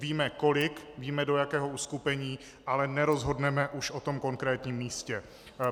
Víme kolik, víme do jakého uskupení, ale nerozhodneme už o tom konkrétním místě.